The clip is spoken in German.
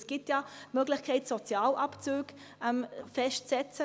Es gibt ja durchaus die Möglichkeit, Sozialabzüge festzusetzen.